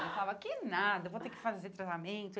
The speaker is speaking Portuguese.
Eu falava, que nada, vou ter que fazer tratamento.